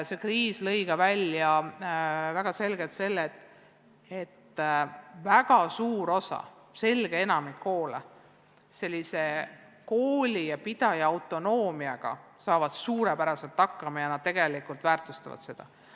See kriis tõi väga selgelt välja, et suur osa, selge enamik koole ja koolipidajaid saavad neile antud autonoomiaga suurepäraselt hakkama ja väärtustavad seda.